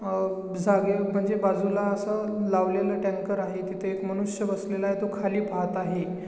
अह जागे म्हणजे बाजूला अस लावलेला टँकर आहे तिथ एक मनुष्य बसलेला आहे तो खाली पाहत आहे.